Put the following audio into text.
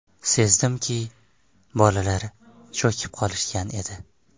Sezdimki, bolalar cho‘kib qolishgan edi.